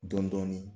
Dɔn dɔɔnin